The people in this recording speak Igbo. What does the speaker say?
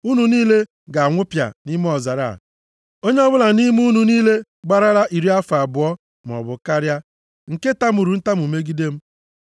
Unu niile ga-anwụpịa nʼime ọzara a! Onye ọbụla nʼime unu niile gbarala iri afọ abụọ maọbụ karịa, nke tamuru ntamu megide m.